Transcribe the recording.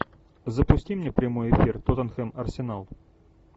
запусти мне прямой эфир тоттенхэм арсенал